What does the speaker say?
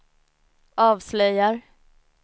avslöjar